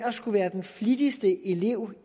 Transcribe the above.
at skulle være den flittigste elev